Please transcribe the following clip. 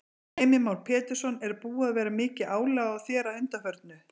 Heimir Már Pétursson: Er búið að vera mikið álag á þér að undanförnu?